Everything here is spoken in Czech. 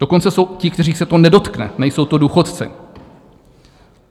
Dokonce jsou ti, kterých se to nedotkne, nejsou to důchodci.